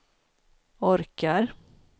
orkar